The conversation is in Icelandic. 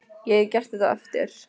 Ég get gert þetta á eftir.